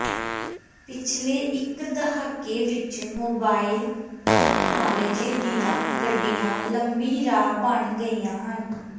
ਪਿਛਲੇ ਇਕ ਦਹਾਕੇ ਵਿਚ ਮੋਬਾਈਲ ਤਕਨਾਲੋਜੀ ਦੀਆਂ ਗੱਡੀਆਂ ਲੰਮੀ ਰਾਹ ਬਣ ਗਈਆਂ ਹਨ